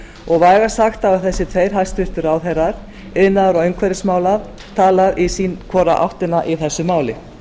og vægast sagt að þessir tveir hæstvirtir ráðherrar iðnaðar og umhverfismála tala hvort í sína áttina í þessu máli